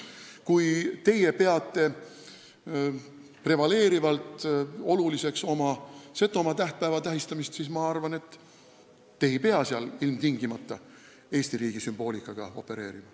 Kui teie peate prevaleerivalt oluliseks oma Setomaa tähtpäeva tähistamist, siis ma arvan, et te ei pea seal ilmtingimata Eesti riigi sümboolikaga opereerima.